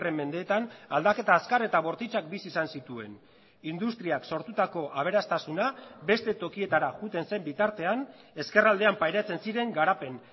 mendeetan aldaketa azkar eta bortitzak bizi izan zituen industriak sortutako aberastasuna beste tokietara joaten zen bitartean ezkerraldean pairatzen ziren garapen